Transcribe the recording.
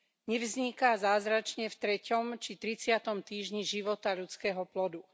Nevzniká zázračne v treťom či tridsiatom týždni života ľudského plodu.